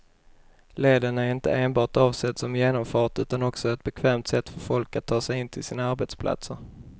Leden är inte enbart avsedd som genomfart utan också som ett bekvämt sätt för folk att ta sig in till sina arbetsplatser.